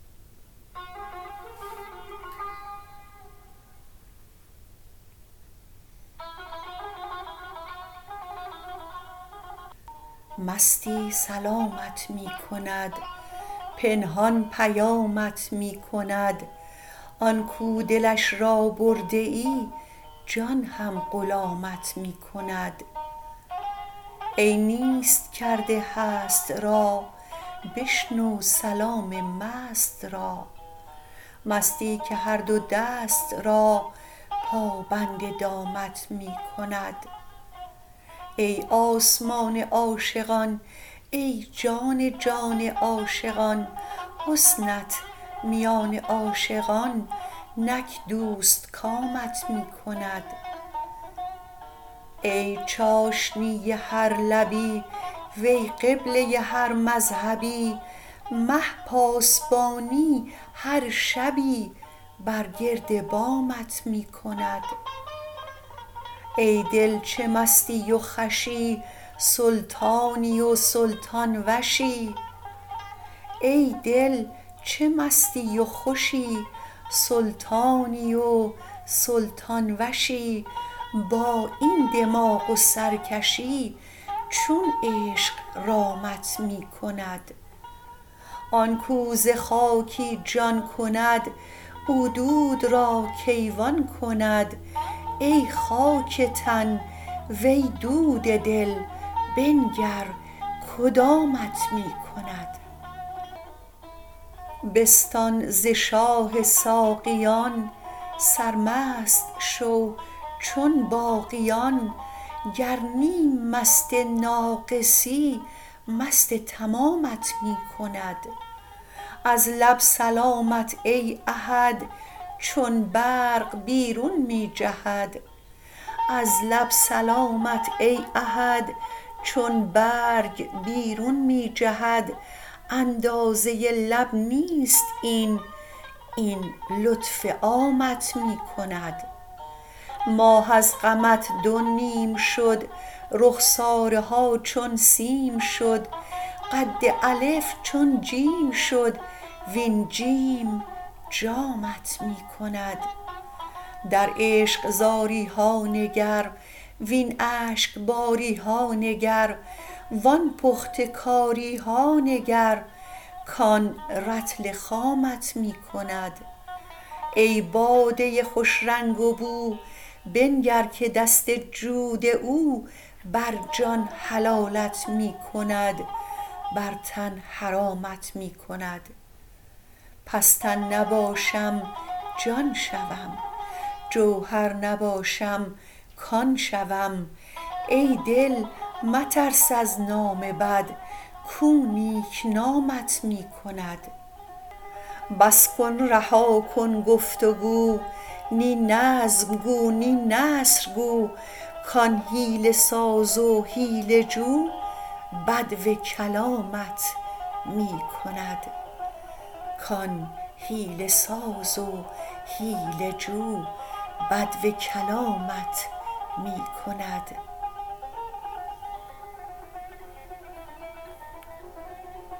مستی سلامت می کند پنهان پیامت می کند آن کو دلش را برده ای جان هم غلامت می کند ای نیست کرده هست را بشنو سلام مست را مستی که هر دو دست را پابند دامت می کند ای آسمان عاشقان ای جان جان عاشقان حسنت میان عاشقان نک دوستکامت می کند ای چاشنی هر لبی وی قبله هر مذهبی مه پاسبانی هر شبی بر گرد بامت می کند ای دل چه مستی و خوشی سلطانی و سلطان وشی با این دماغ و سرکشی چون عشق رامت می کند آن کو ز خاکی جان کند او دود را کیوان کند ای خاک تن وی دود دل بنگر کدامت می کند بستان ز شاه ساقیان سرمست شو چون باقیان گر نیم مست ناقصی مست تمامت می کند از لب سلامت ای احد چون برگ بیرون می جهد اندازه لب نیست این این لطف عامت می کند ماه از غمت دو نیم شد رخساره ها چون سیم شد قد الف چون جیم شد وین جیم جامت می کند در عشق زاری ها نگر وین اشک باری ها نگر وان پخته کاری ها نگر کان رطل خامت می کند ای باده خوش رنگ و بو بنگر که دست جود او بر جان حلالت می کند بر تن حرامت می کند پس تن نباشم جان شوم جوهر نباشم کان شوم ای دل مترس از نام بد کو نیک نامت می کند بس کن رها کن گفت و گو نی نظم گو نی نثر گو کان حیله ساز و حیله جو بدو کلامت می کند